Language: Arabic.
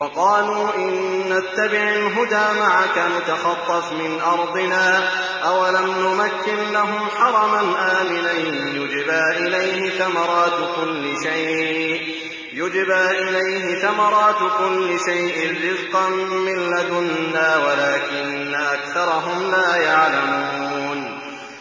وَقَالُوا إِن نَّتَّبِعِ الْهُدَىٰ مَعَكَ نُتَخَطَّفْ مِنْ أَرْضِنَا ۚ أَوَلَمْ نُمَكِّن لَّهُمْ حَرَمًا آمِنًا يُجْبَىٰ إِلَيْهِ ثَمَرَاتُ كُلِّ شَيْءٍ رِّزْقًا مِّن لَّدُنَّا وَلَٰكِنَّ أَكْثَرَهُمْ لَا يَعْلَمُونَ